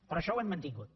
però això ho hem mantingut